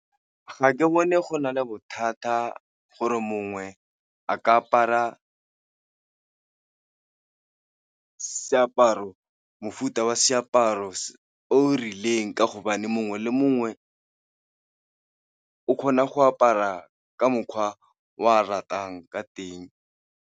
Ga ke bone go na le bothata gore mongwe a ka apara mofuta wa seaparo o rileng ka hobane mongwe le mongwe o kgona go apara ka mokgwa o a ratang ka teng.